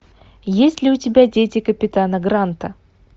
есть ли у тебя дети капитана гранта